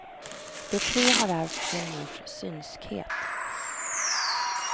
De tre har ärvt sin mors synskhet.